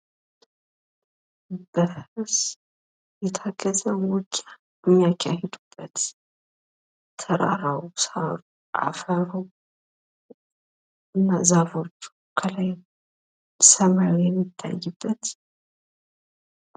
በፈረስ የታገዘ ውጊያ የሚካሄድበት ቦታ ሲሆን ፤ ትራራው፣ ሳሩ፣ አፈሩ፣ ዛፎች እና ሰማይ የሚታይበት ምስል ነው።